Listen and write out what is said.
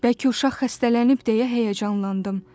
Bəlkə uşaq xəstələnib deyə həyəcanlandım.